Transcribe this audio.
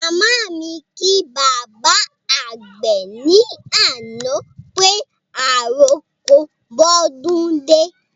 Màmá mi kí bàbá àgbè ní àná pé àròko bódún dé